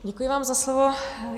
Děkuji vám za slovo.